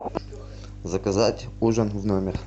заказать ужин в номер